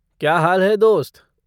क्या हाल है, दोस्त?